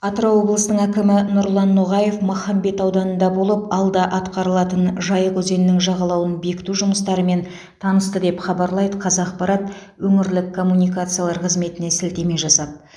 атырау облысының әкімі нұрлан ноғаев махамбет ауданында болып алда атқарылатын жайық өзенінің жағалауын бекіту жұмыстарымен танысты деп хабарлайды қазақпарат өңірлік коммуникациялар қызметіне сілтеме жасап